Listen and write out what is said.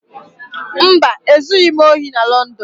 Mba, e zughị m ohị na Lọndọn